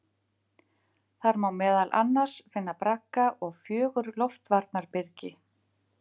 Þar má meðal annars finna bragga og fjögur loftvarnarbyrgi.